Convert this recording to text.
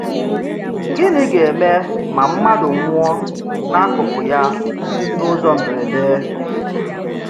Gịnị̀ gā-èmè má mmádụ̀ nwụ̀ọ̀ n’ákụkụ̀ ya n’ụ́zọ̀ mbèrèdè?